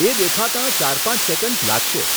એ દેખાતાં ચાર પાંચ સેકન્ડ્સ લાગશે.